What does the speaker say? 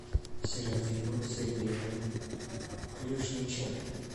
серафима сергеевна клюшниченко